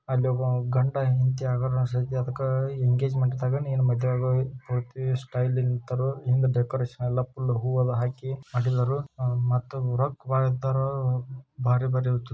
ಅಲ್ಲೊಬ್ಬಾ ಗಂಡ ಹೆಂಡತಿ ಆಗೋರ್ ಅನಸತೈತಿ ಅದಕ್ಕ ಎಂಗೇಜ್ಮೆಂಟ್ದಾಗ ನೀನು ಮದಿವಿ ಆಗೋ ಮದುವೆ ಪೂರ್ತಿ ಸ್ಟೈಲಿ ನ್ ನಿಂತರೋ ಹಿಂದ್ ಡೆಕೋರೇಷನ್ ಎಲ್ಲ ಫುಲ್ ಹೂವೆಲ್ಲ ಹಾಕಿ ಮಾಡಿದಾರು ಮತ್ತು ರೊಕ್ಕ ಭಾಳ ಇದ್ದಾರು ಭಾರಿ ಭಾರಿ --